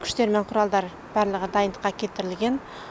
күштер мен құралдар барлығы дайындыққа келтірілген